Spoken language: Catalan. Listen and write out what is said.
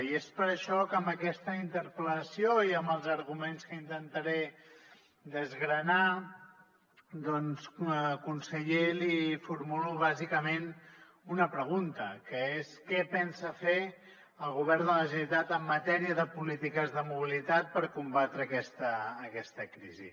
i és per això que amb aquesta interpel·lació i amb els arguments que intentaré desgranar doncs conseller li formulo bàsicament una pregunta que és què pensa fer el govern de la generalitat en matèria de polítiques de mobilitat per combatre aquesta crisi